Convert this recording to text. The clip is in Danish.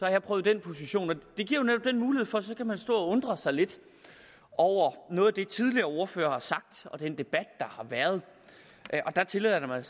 jeg prøvet den position og undre sig lidt over noget af det tidligere ordførere har sagt og over den debat der har været der tillader jeg mig